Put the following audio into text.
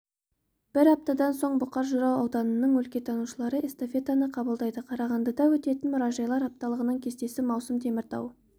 бір аптадан соң бұқар жырау ауданының өлкетанушылары эстафетаны қабылдайды қарағандыда өтетін мұражайлар апталығының кестесі маусым теміртау